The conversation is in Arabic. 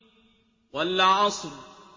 وَالْعَصْرِ